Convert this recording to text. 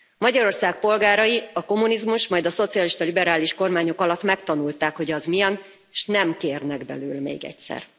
Magyarország polgárai a kommunizmus, majd a szocialista liberális kormányok alatt megtanulták, hogy az milyen, és nem kérnek belőle még egyszer.